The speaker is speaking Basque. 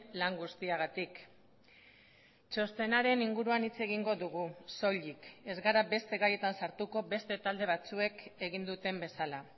lan guztiagatik txostenaren inguruan hitz egingo dugu soilik ez gara beste gaietan sartuko beste talde batzuek egin duten bezala